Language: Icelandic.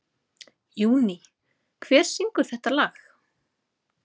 Júní, hver syngur þetta lag?